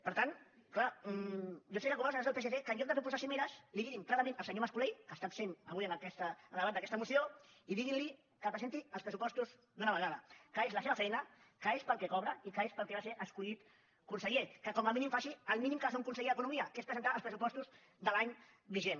per tant és clar jo recomano als senyors del psc que en lloc de proposar cimeres diguin clarament al senyor mas colell que està absent avui en el debat d’aquesta moció que presenti els pressupostos d’una vegada que és la seva feina que és pel que cobra i que és per al que va ser escollit conseller que com a mínim faci el mínim que ha de fer un conseller d’economia que és presentar els pressupostos de l’any vigent